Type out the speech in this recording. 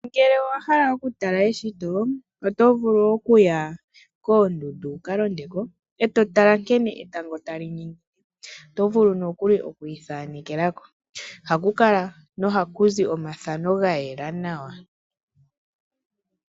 Ngele owa hala oku tala eshito, oto vulu okuya koondundu wuka londeko e to tala nkene etango tali ningine. Oto vulu nokuli okwii thanekeleko, ohaku kala nohaku zi omathano ga yela nawa.